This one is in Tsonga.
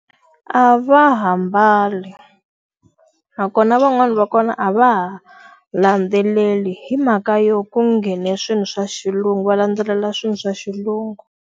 A va ha mbali. Nakona van'wani va kona a va ha landzeleli hi mhaka yo ku nghene swilo swa xilungu va landzelela swilo swa xilungu.